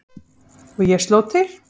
Og ég sló til.